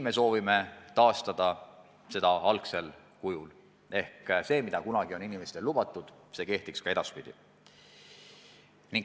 Me soovime taastada seda regulatsiooni algsel kujul ehk see, mida kunagi on inimestele lubatud, kehtiks ka edaspidi.